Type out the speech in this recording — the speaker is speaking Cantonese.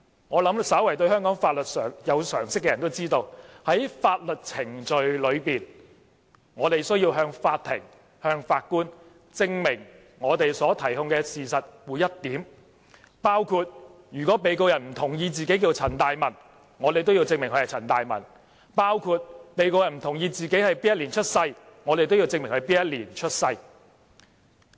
我想，稍為對香港法律有常識的人都知道，在法律程序中，我們需要向法庭、法官證明所提控事實的每一點，包括如果被告人不同意自己名字叫陳大文，我們都要證明他名叫陳大文；如果被告人不同意自己的出生年份，我們都要證明他是在哪一年出生。